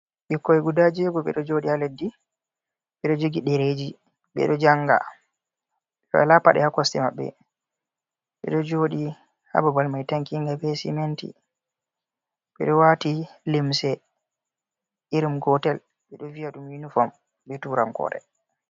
Ɓikkoy guda jeego ɓe ɗo jooɗi haa leddi, ɓe ɗo jogi ɗereeji ɓe ɗo jannga, ɓe walaa paɗe haa kosɗe maɓɓe, ɓe ɗo jooɗi haa babal may tankiinga be siminti, ɓed ɗo waati limse irin gootel, ɓe ɗo viya ɗum unifom, be turankoore.